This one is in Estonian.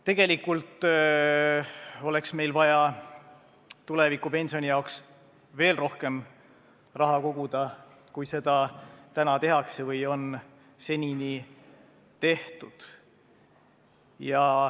Tegelikult oleks meil vaja tulevikupensioni jaoks veel rohkem raha koguda, kui seda senini on tehtud.